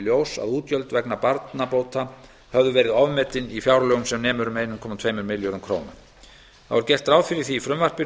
ljós að útgjöld vegna barnabóta höfðu verið ofmetin í fjárlögum sem nemur um einn komma tveimur milljörðum króna þá er gert ráð fyrir því í frumvarpinu